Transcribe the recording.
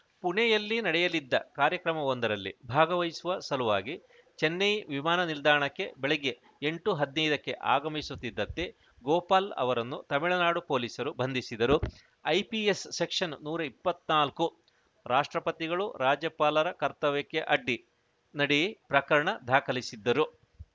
ಪುಣೆಯಲ್ಲಿ ನಡೆಯಲಿದ್ದ ಕಾರ್ಯಕ್ರಮವೊಂದರಲ್ಲಿ ಭಾಗವಹಿಸುವ ಸಲುವಾಗಿ ಚೆನ್ನೈ ವಿಮಾನ ನಿಲ್ದಾಣಕ್ಕೆ ಬೆಳಗ್ಗೆ ಎಂಟು ಹದಿನೈದಕ್ಕೆ ಆಗಮಿಸುತ್ತಿದ್ದಂತೆ ಗೋಪಾಲ್‌ ಅವರನ್ನು ತಮಿಳುನಾಡು ಪೊಲೀಸರು ಬಂಧಿಸಿದರು ಐಪಿಎಸ್ ಸೆಕ್ಷನ್‌ ನೂರ ಇಪ್ಪತ್ತ್ ನಾಲ್ಕು ರಾಷ್ಟ್ರಪತಿಗಳು ರಾಜ್ಯಪಾಲರ ಕರ್ತವ್ಯಕ್ಕೆ ಅಡ್ಡಿ ನಡಿ ಪ್ರಕರಣ ದಾಖಲಿಸಿದ್ದರು